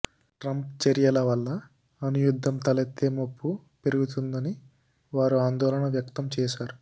Trump చర్యల వల్ల అణు యుద్ధం తలెత్తే ముప్పు పెరుగుతుందని వారు ఆందోళన వ్యక్తం చేశారు